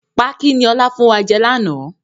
Pákí ni ọ̀la fún wa jẹ láánaà